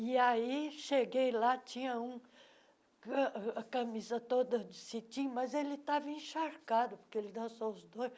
E aí cheguei lá, tinha um a a camisa toda de cetim, mas ele estava encharcado, porque ele dançou os dois.